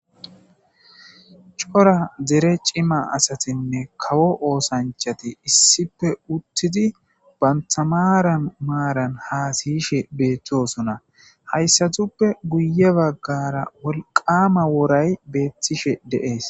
cora dere cima asatinne kawo oosanchati issippe uttidi bantamaran maaran hasiyishe beettosona hayssatuppe guye baggara wolqama woray beettishe deees